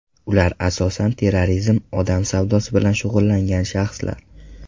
Ular asosan terrorizm, odam savdosi bilan shug‘ullangan shaxslar.